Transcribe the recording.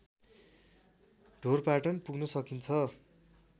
ढोरपाटन पुग्न सकिन्छ